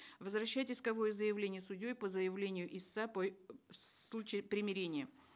возвращать исковое заявление судьей по заявлению истца по в случае примирения